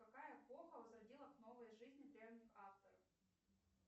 какая эпоха возродила к новой жизни древних авторов